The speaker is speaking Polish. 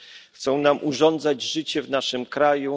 Chcą nam urządzać życie w naszym kraju.